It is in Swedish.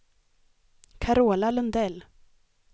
Carola Lundell